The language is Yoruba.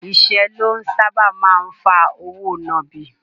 Ìṣẹ́ ló sáábà máa ń fa òwò nàbì.